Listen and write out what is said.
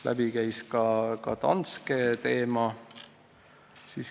Läbi käis ka Danske teema.